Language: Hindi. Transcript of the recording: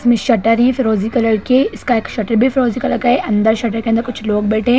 इसमे शटर है फिरोजी कलर के इसका एक शटर भी फिरोजी कलर का है अंदर शटर के अंदर कुछ लोग बैठे है।